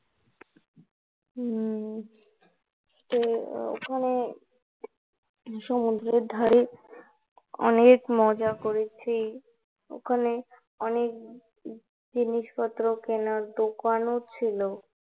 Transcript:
হম তো সবাই সমুদ্রের ধারে অনেক মজা করেছি, ওখানে অনেক জিনিসপত্র কেনার দোকান ও ছিলো